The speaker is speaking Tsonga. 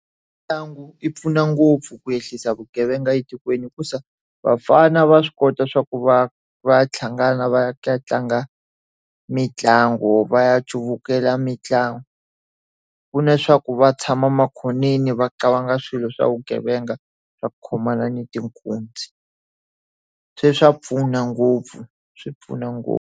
Mitlangu yi pfuna ngopfu ku ehlisa vugevenga etikweni hikuva vafana va swi kota swa ku va va ya hlangana va ya tlanga mitlangu. Va ya cuvukela mitlangu. Ku leswaku va tshama makhoneni va cabanga swilo swa vugevenga, va khomana ni tinkunzi. Se swa pfuna ngopfu, swi pfuna ngopfu.